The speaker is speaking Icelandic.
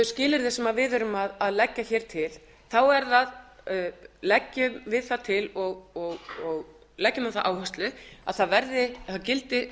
skilyrði sem við erum að leggja til þá leggjum við það til og leggjum á það áherslu að það gildi